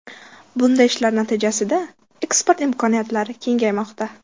Bunday ishlar natijasida eksport imkoniyatlari kengaymoqda.